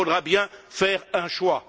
Il faudra bien faire un choix.